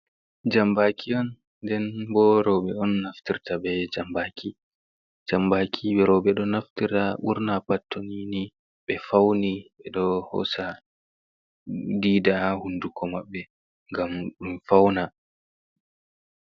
Jambaaki on den bo roube on naftirta be jambaaki. jambaaki rauɓe do naftira wurna pat tonini ɓe fauni be do hosa dida hunduko maɓɓe ngam ɗum fauna.